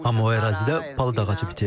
Amma o ərazidə palıd ağacı bitir.